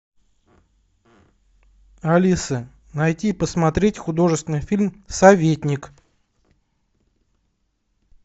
алиса найди посмотреть художественный фильм советник